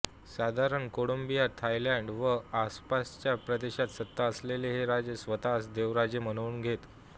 साधारण Cambodia Thailand व आसपासच्या प्रदेशात सत्ता असलेले हे राजे स्वतःस देवराजे म्हणवून घेत